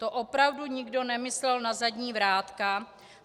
To opravdu nikdo nemyslel na zadní vrátka?